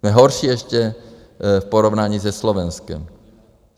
Jsme horší ještě v porovnání se Slovenskem.